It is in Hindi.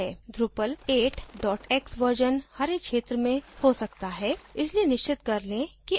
drupal 8 dot x version हरे क्षेत्र में हो सकता है इसलिए निश्चित कर लें कि आप उस वाले पर click करें